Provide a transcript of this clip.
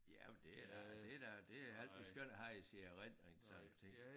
Ja men det er da det er da det er rigtig skønt at have i sin erindring sådan nogle ting